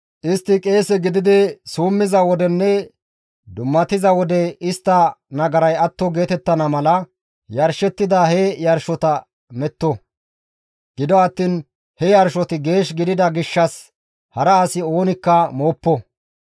Istti qeese gididi summiza wodenne dummatiza wode istta nagaray atto geetettana mala yarshettida he yarshota metto. Gido attiin he yarshoti geesh gidida gishshas hara asi oonikka mooppo.